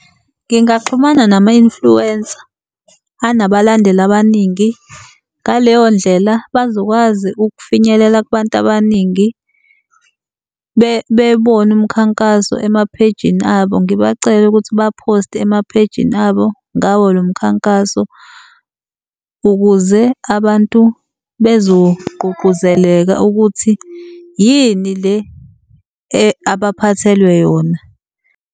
Ngingaxhumana nama-influencer anabalandeli abaningi. Ngaleyo ndlela bazokwazi ukufinyelela kubantu abaningi bebone umkhankaso ema-page-ni abo. Ngibacele ukuthi ba-post-e ema-page-ni abo ngawo lo mkhankaso ukuze abantu bezogqugquzeleka ukuthi yini le abaphathelwe yona.